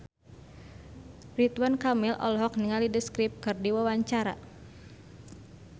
Ridwan Kamil olohok ningali The Script keur diwawancara